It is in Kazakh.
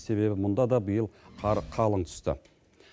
себебі мұнда да биыл қар қалың түсті